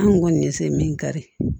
An kun kɔni ye se min kari